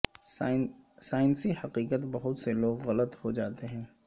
سائنسی حقیقت بہت سے لوگ غلط ہو جاتے ہیں